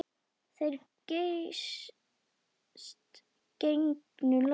Þeir geysast gegnum loftið.